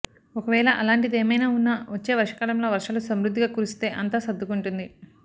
ఒకవేళ అలాంటిదేమైనా ఉన్నా వచ్చే వర్షాకాలంలో వర్షాలు సమృద్ధిగా కురిస్తే అంతా సర్దుకుంటుంది